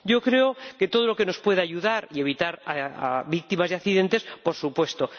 Creo que todo lo que nos pueda ayudar y evitar víctimas de accidentes, por supuesto.